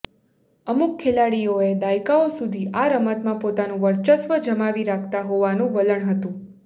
અમુક ખેલાડીઓએ દાયકાઓ સુધી આ રમતમાં પોતાનું વર્ચસ્વ જમાવી રાખતા હોવાનું વલણ હતું